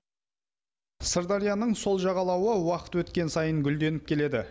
сырдарияның сол жағалауы уақыт өткен сайын гүлденіп келеді